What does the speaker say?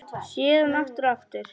Síðan aftur og aftur.